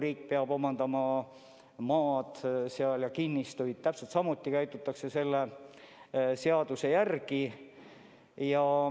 Riik peab ka selleks omandama maad ja kinnistuid ning täpselt samuti tegutsetakse selle seaduse järgi.